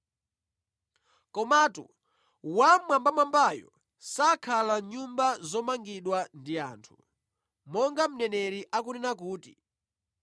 “Komatu, Wammwambamwambayo sakhala mʼnyumba zomangidwa ndi anthu. Monga mneneri akunena kuti,